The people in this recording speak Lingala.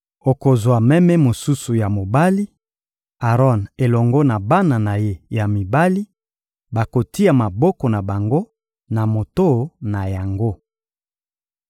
Okozwa meme mosusu ya mobali; Aron elongo na bana na ye ya mibali bakotia maboko na bango na moto na yango.